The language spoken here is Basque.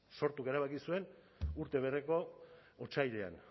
sortuk erabaki zuen urte bereko otsailean